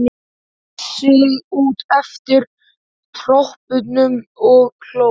Teygði sig út eftir dropunum og hló.